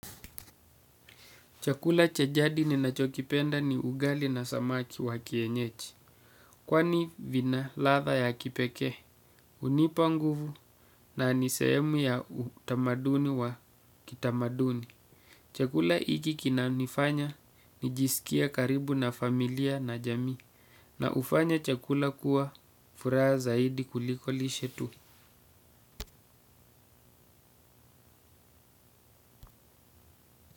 Chakula cha jadi ninachokipenda ni ugali na samaki wa kienyeji. Kwani vina ladha ya kipekee, hunipa nguvu na ni sehemu ya utamaduni wa kitamaduni. Chakula hiki kinanifanya, nijisikie karibu na familia na jamii. Na hufanya chakula kuwa furaha zaidi kuliko lishe tu.